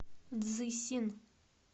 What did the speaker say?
цзысин